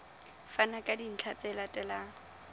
fana ka dintlha tse latelang